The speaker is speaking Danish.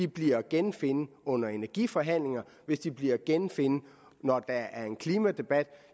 bliver at genfinde under energiforhandlingerne hvis de bliver at genfinde når der er en klimadebat